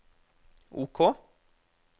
OK